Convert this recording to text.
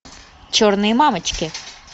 черные мамочки